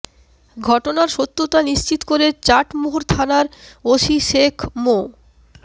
ঘটনার সত্যতা নিশ্চিত করে চাটমোহর থানার ওসি শেখ মো